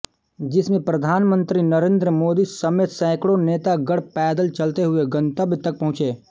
जिसमे प्रधानमंत्री नरेंद्र मोदी समेत सैंकड़ों नेता गण पैदल चलते हुए गंतव्य तक पहुंचे